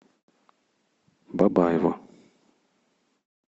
бабаево